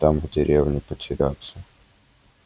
там в деревне потеряться